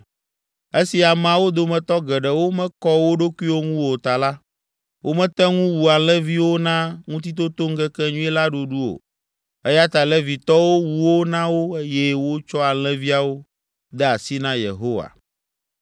Esi ameawo dometɔ geɖewo mekɔ wo ɖokuiwo ŋu o ta la, womete ŋu wu alẽviwo na Ŋutitotoŋkekenyui la ɖuɖu o eya ta Levitɔwo wu wo na wo eye wotsɔ alẽviawo de asi na Yehowa.